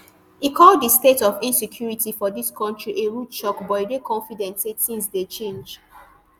e call di state of insecurity for di kontri a rude shock but e dey confident say tins dey change